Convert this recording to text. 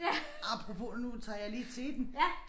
Apropos nu tager jeg lige teten